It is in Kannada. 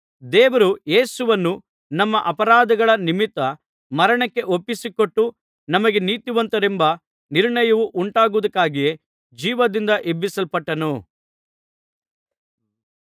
ದೇವರು ಯೇಸುವನ್ನು ನಮ್ಮ ಅಪರಾಧಗಳ ನಿಮಿತ್ತ ಮರಣಕ್ಕೆ ಒಪ್ಪಿಸಿಕೊಟ್ಟು ನಮಗೆ ನೀತಿವಂತರೆಂಬ ನಿರ್ಣಯವು ಉಂಟಾಗುವುದಕ್ಕಾಗಿಯೇ ಜೀವದಿಂದ ಎಬ್ಬಿಸಲ್ಪಟ್ಟನು